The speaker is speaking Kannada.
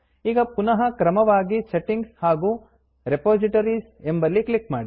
ಈಗ ಪುನಃ ಕ್ರಮವಾಗಿ Settingಸೆಟ್ಟಿಂಗ್ಸ್ ಹಾಗೂ Repositoriesರೆಪೋಸಿಟೋರೀಸ್ ಎಂಬಲ್ಲಿ ಒತ್ತಿ